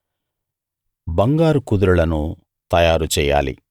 బంగారు కుదురులను తయారు చెయ్యాలి